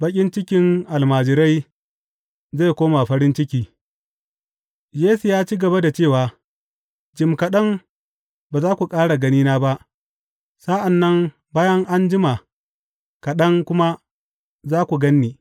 Baƙin cikin almajirai zai koma farin ciki Yesu ya ci gaba da cewa, Jim kaɗan, ba za ku ƙara ganina ba, sa’an nan bayan an jima kaɗan kuma, za ku gan ni.